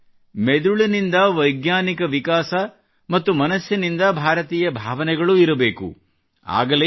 ಅಂದರೆ ಮೆದುಳಿನಿಂದ ವೈಜ್ಞಾನಿಕ ವಿಕಾಸ ಮತ್ತು ಮನಸ್ಸಿನಿಂದ ಭಾರತೀಯ ಭಾವನೆಗಳೂ ಇರಬೇಕು